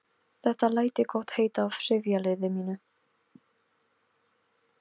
Þetta læt ég gott heita af sifjaliði mínu.